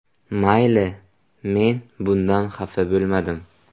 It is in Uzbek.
Mayli, men bundan xafa bo‘lmadim.